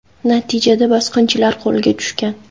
Natijada bosqinchilar qo‘lga tushgan.